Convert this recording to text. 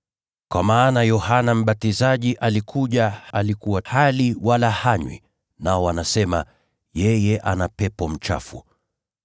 Kwa maana Yohana Mbatizaji alikuja, alikuwa hali wala hanywi, nao wanasema, ‘Yeye ana pepo mchafu.’